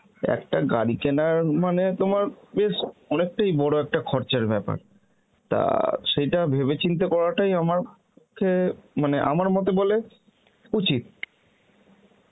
একটা গাড়ি কেনার মানে তোমার বেশ অনেকটাই বড় একটা ঘর যার ব্যাপার, তা সেইটা ভেবেচিন্তে করাটাই আমার পক্ষে মানে আমার মতে বলে উচিত